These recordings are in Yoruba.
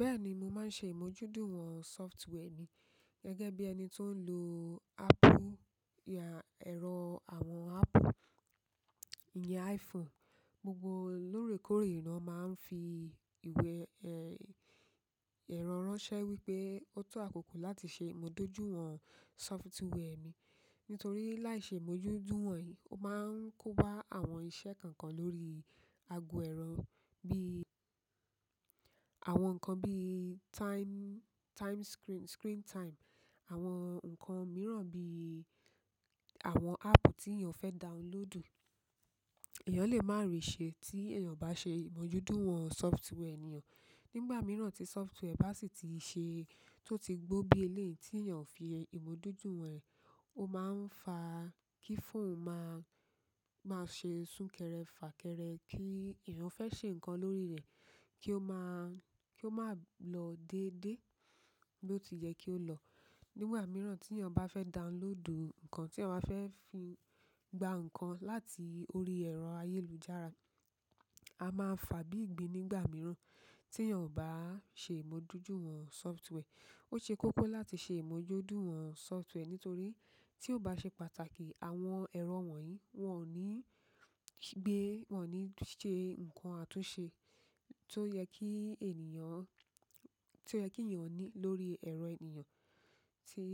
Bẹ́ẹ̀ni mo ma se imoju duwon software mi gẹ́gẹ́ bi ẹni to n lo ero àwọn apple, iyen iphone. Gbogbo órèkórè lo máa ń fi ìwé, ẹ̀rọ ránṣẹ́ wípé ó tó àkókò láti ṣe ìmójúduwon àwọn sóftware mi. Nítorí láìṣe ìmójúduwon yí, ó máa ń kóba àwọn iṣẹ́ kankan lórí ago ẹ̀rọ bí, àwọn nǹkan bí time, time screen, screen time, àwọn nǹkan mìíràn bí àwọn ápù tí èèyàn fẹ́ downloadù, èèyàn lè má ri ṣe tí èèyàn bá ṣe ìmójúduwon àwọn sóftware eyan. Nígbà miran ti software bati gbo bi eleyi, ti eyan ose imojudiwon o ma n fa kí fóònù máa, máa ṣe sún kẹrẹ fà kẹrẹ kí èèyàn fẹ́ ṣe nǹkan lórí rẹ̀ kí ó máa, kí ó máa lọ dédé bí ó tiyẹ́ kí ó lọ. Nígbà mìíràn tí èèyàn bá fẹ́ downloadù nǹkan tí èèyàn bá fẹ́ fi gba nǹkan láti orí ẹ̀rọ ayélujára, a máa fà bí ìgbín nígbà mìíràn tí èèyàn ò bá ṣe ìmójútó àwọn sófútúwẹ́ẹ̀. Ó ṣe kókó láti ṣe ìmójúduwon àwọn sófwarẹ̀ nítorí tí ó bá ṣe pàtàkì, àwọn ẹ̀rọ wọ̀nyí wọ́n ò ní gbé, wọ́n ò ní ṣe nǹkan àtúnṣe tó yẹ kí ènìyàn, tó yẹ kí èèyàn ní lórí ẹ̀rọ èèyàn tí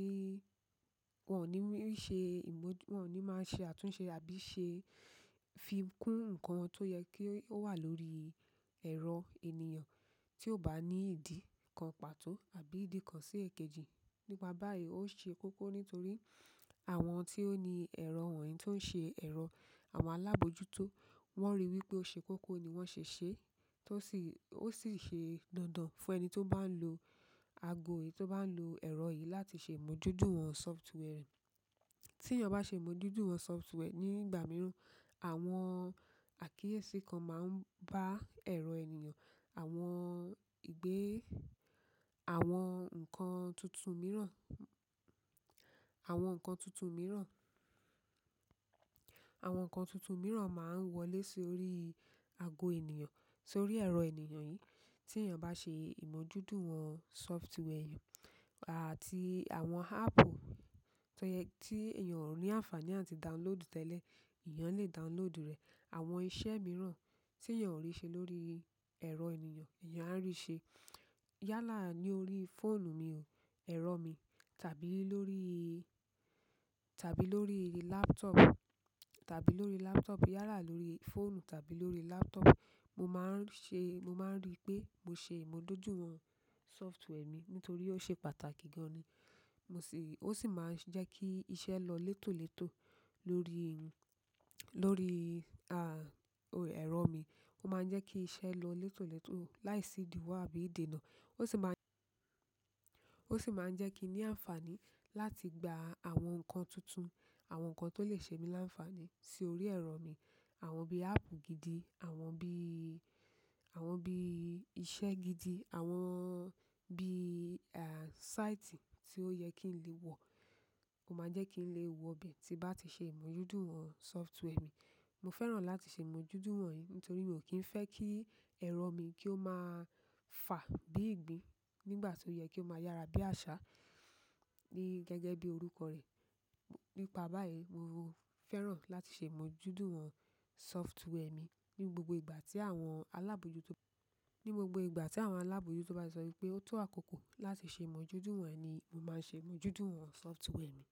wọ́n ò ní ṣe ìmójú, wọ́n ò ní máa ṣe àtúnṣe àbí ṣe fi kún nǹkan tó yẹ kí ó wà lórí ẹ̀rọ èèyàn tí ó bá ní ìdí kan pàtó àbí ìdí kan sí èkejì. Nípa báyìí, ó ṣe kókó nítorí àwọn tí ó ní ẹ̀rọ wọ̀nyí tó ń ṣe ẹ̀rọ àwọn alábòójútó wọ́n ríi wípé ó ṣe kókó ni wọ́n ṣe ṣe. Tó sì, ó sì ṣe dandan fún ẹni tó bá ń lo ago yìí, tó bá ń lo ẹ̀rọ yìí láti ṣe ìmójútó àwọn sóftware. Tí èèyàn bá ṣe ìmójúduwon àwọn sóftwareẹ nígbà mìíràn, àwọn àkíyèsí kan máa ń bá ẹ̀rọ èèyàn, àwọn ìgbé, àwọn nǹkan tuntun mìíràn, àwọn nǹkan tuntun mìíràn, àwọn nǹkan tuntun mìíràn máa ń wọlé sórí ago èèyàn sórí ẹ̀rọ èèyàn yìí. Tí èèyàn bá ṣe ìmójúduwon àwọn sóftware àti àwọn ápù tó yẹ tí èèyàn ò ní àǹfàní àti downloadù tẹ́lẹ̀, èèyàn lè downloadù rẹ̀. Àwọn iṣẹ́ mìíràn tí èèyàn ò rí ṣe lórí ẹ̀rọ èèyàn, èèyàn á rí ṣe. Yálà lórí fóònù mi o, ẹ̀rọ mi tàbí lórí, tàbí lórí laptop, tàbí lórí laptop, yálà lórí fóònù tàbí lórí laptop. Mo máa ń ṣe, mo máa ń rí pé mo ṣe ìmójúduwon àwọn software mi nítorí ó ṣe pàtàkì gan ni. Mo sì, ó sì máa ń jẹ́ kí iṣẹ́ lọ létòlétò lórí, ẹ̀rọ mi. Ó máa ń jẹ́ kí iṣẹ́ lọ létòlétò láìsí ìdìwọ̀ àbí ìdènà. Ó sì máa ń, ó sì máa ń jẹ́ kí n ní àǹfàní láti gba àwọn nǹkan tuntun, àwọn nǹkan tó lè ṣe mí láǹfàní sórí ẹ̀rọ mi. Àwọn bí ápù gidi, àwọn bí, àwọn bí iṣẹ́ gidi, àwọn bí, àn, sáìtì tí ó yẹ kí n lè wọ̀, ó máa jẹ́ kí n lè wọ bẹ́ẹ̀ tí bá ti ṣe ìmójúduwọn sófware mi. Mo fẹ́ràn láti ṣe ìmójuduwon yí nítorí mi ò kí ń fẹ́ kí ẹ̀rọ mi kí ó máa fà bí ìgbín nígbà tó yẹ kí ó máa yára bí àṣá ní gẹ́gẹ́ bí orúkọ rẹ̀. Nípa báyìí, mo fẹ́ran láti ṣe ìmójúduwọn software mi ní gbogbo ìgbà tí àwọn alábòójútó, ní gbogbo ìgbà tí àwọn alábòójútó bá ti sọ wípé ó tó àkókò láti ṣe ìmójúduwọ̀n ni mo máa ń ṣe ìmójúduwọn software mi.